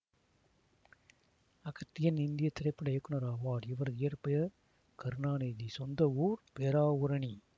அகத்தியன் இந்திய திரைப்பட இயக்குனர் ஆவார் இவரது இயற்பெயர் கருணாநிதிசொந்த ஊர் பேராவூரணி